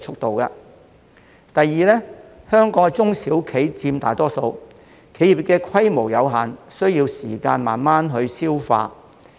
第二，香港的中小企佔大多數，規模有限，需要時間慢慢消化。